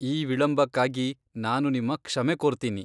ಈ ವಿಳಂಬಕ್ಕಾಗಿ ನಾನು ನಿಮ್ಮ ಕ್ಷಮೆ ಕೋರ್ತೀನಿ.